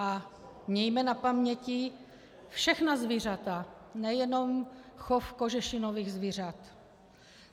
A mějme na paměti všechna zvířata, nejenom chov kožešinových zvířat.